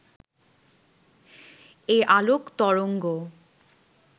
এই আলোক তরঙ্গ